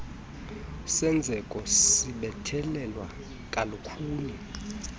senzeko sibethelelwa kalukhuni